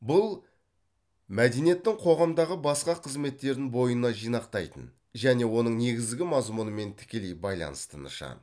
бұл мәдениеттің қоғамдағы басқа қызметтерін бойына жинақтайтын және оның негізгі мазмүнымен тікелей байланысты нышан